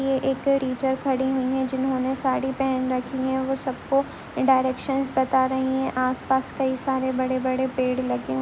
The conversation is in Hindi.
ये एक टीचर खड़ी हुई है जिन्होंने साड़ी पहन रखी है वो सबको डायरेक्शन बता रही है आसपास कई सारे बड़े बड़े पेड़ लगे--